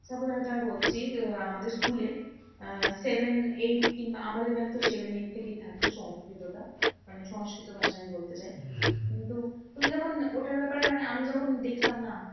তারপরে আমি তোমায় বলছি যে, আমাদের school এ আহ seven eight কিন্তু আমাদের বেলাতে seven eight থেকেই থাকতো সংস্কৃতটা। মানে সংস্কৃত ভাষা আমি বলতে চাই। কিন্তু তুমি যখন ওটার ব্যাপারে মানে আমি যখন দেখলাম না